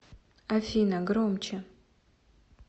афина громче